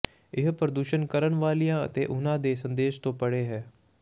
ਇਹ ਪ੍ਰਦਰਸ਼ਨ ਕਰਨ ਵਾਲਿਆਂ ਅਤੇ ਉਨ੍ਹਾਂ ਦੇ ਸੰਦੇਸ਼ ਤੋਂ ਪਰੇ ਹੈ